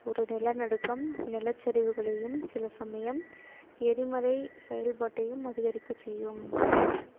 ஒரு நிலநடுக்கம் நிலச்சரிவுகளையும் சில சமயம் எரிமலை செயல்பாட்டையும் அதிகரிக்கச் செய்யும்